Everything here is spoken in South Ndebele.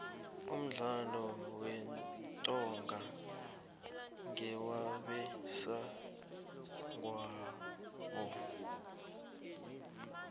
umdlalo wentonga ngewabesegwabo